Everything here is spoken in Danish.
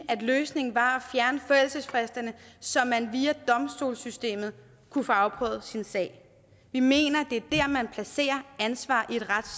at løsningen var at fjerne forældelsesfristerne så man via domstolssystemet kunne få afprøvet sin sag vi mener det er der man placerer ansvaret